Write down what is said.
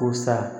Ko sa